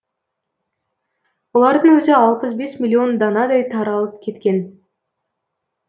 олардың өзі алпыс бес миллион данадай таралып кеткен